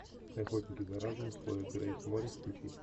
охотники за разумом с хлоей грейс морец включи